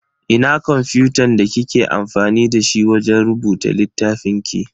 Ina kwamfutan da kike amfani dashi wajen rubuta littafin ki?